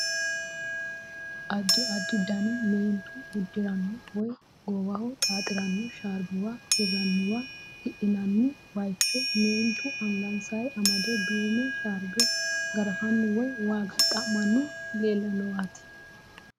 Addi addi dani meentu uddiranno woy goowaho xaaxiranno sharbuwa hirranniwanna hidhinanni baayicho meentu angansay amade duume sharbe garafanni woy waaga xa'manni leellanowaati.